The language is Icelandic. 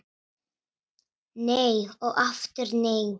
Nei og aftur nei